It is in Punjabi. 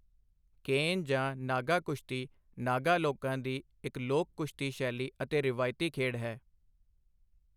ਕੇਨ ਜਾਂ ਨਾਗਾ ਕੁਸ਼ਤੀ ਨਾਗਾ ਲੋਕਾਂ ਦੀ ਇੱਕ ਲੋਕ ਕੁਸ਼ਤੀ ਸ਼ੈਲੀ ਅਤੇ ਰਵਾਇਤੀ ਖੇਡ ਹੈ।